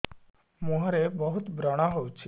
ମୁଁହରେ ବହୁତ ବ୍ରଣ ହଉଛି